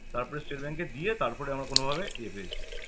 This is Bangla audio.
তারপরে state bank এ দিয়ে তারপরে আমরা কোনো ভাবে ইয়ে পেয়েছি